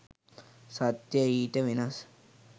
සත්‍ය ඊට වෙනස්